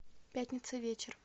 пятница вечер